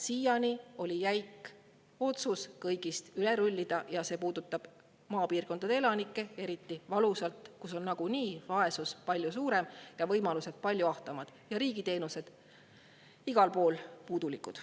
Siiani oli jäik otsus kõigist üle rullida ja see puudutab eriti valusalt maapiirkondade elanikke, sest seal on vaesus nagunii palju suurem, võimalused palju ahtamad ja riigiteenused igal pool puudulikud.